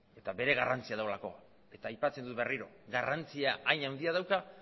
eta bere garrantzia duelako eta aipatzen dut berriro garrantzia hain handia dauka